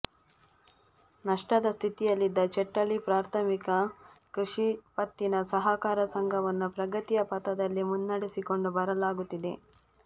ನಷ್ಟದ ಸ್ಥಿತಿಯಲ್ಲಿದ್ದ ಚೆಟ್ಟಳ್ಳಿ ಪ್ರಾಥಮಿಕ ಕೃಷಿ ಪತ್ತಿನ ಸಹಕಾರ ಸಂಘವನ್ನು ಪ್ರಗತಿಯ ಪಥದಲ್ಲಿ ಮುನ್ನಡೆಸಿಕೊಂಡು ಬರಲಾಗುತ್ತಿದೆ